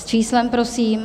S číslem, prosím.